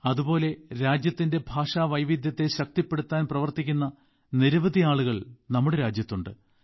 അതുപോലെ രാജ്യത്തിന്റെ ഭാഷാവൈവിധ്യത്തെ ശക്തിപ്പെടുത്താൻ പ്രവർത്തിക്കുന്ന നിരവധി ആളുകൾ നമ്മുടെ രാജ്യത്തുണ്ട്